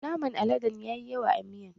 Naman aladen ya yi yawa a miyan